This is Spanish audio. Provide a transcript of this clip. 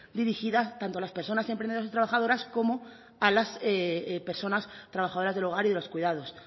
dirigida tanto a las personas emprendedoras y trabajadoras como a las personas trabajadoras del hogar y de los cuidados